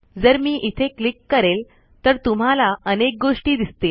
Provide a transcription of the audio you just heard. जर मी इथे क्लिक करेल तर तुम्हाला अनेक गोष्टी दिसतील